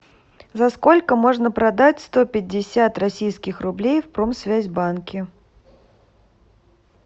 за сколько можно продать сто пятьдесят российских рублей в промсвязьбанке